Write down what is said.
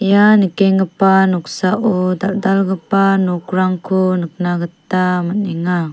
ia nikenggipa noksao dal·dalgipa nokrangko nikna gita man·enga.